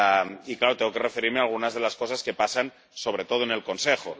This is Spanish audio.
Y, claro, tengo que referirme a algunas de las cosas que pasan, sobre todo en el Consejo.